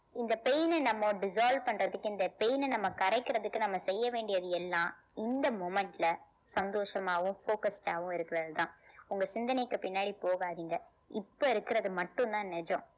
இந்த pain அ நம்ம dissolve பண்றதுக்கு இந்த pain அ நம்ம கரைக்கிறதுக்கு நம்ம செய்ய வேண்டியது எல்லாம் இந்த moment ல சந்தோஷமாவும் focused ஆவும் இருக்கிறது தான் உங்க சிந்தனைக்கு பின்னாடி போகாதீங்க இப்ப இருக்கிறது மட்டும் தான் நிஜம்